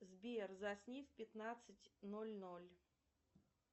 сбер засни в пятнадцать ноль ноль